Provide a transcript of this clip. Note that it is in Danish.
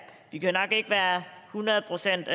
i det her ikke være hundrede procent